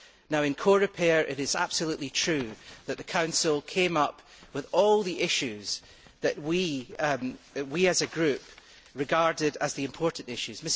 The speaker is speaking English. Now in Coreper, it is absolutely true that the Council came up with all the issues that we as a group regarded as the important issues.